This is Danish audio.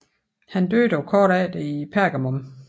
Han døde dog kort efter i Pergamum